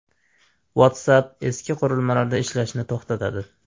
WhatsApp eski qurilmalarda ishlashni to‘xtatadi.